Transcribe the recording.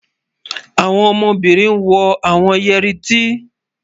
Àwọn ọmọbínrin wọ̀ awọn yẹri ẹ̀tí.